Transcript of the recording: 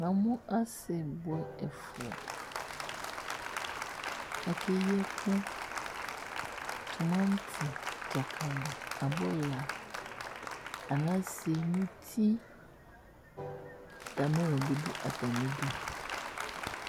Namu asi buɛ ɛfua Ake yi ɛku, tumanti, dzakali, abula, anase, muti, ata belɔ bi du ata mi du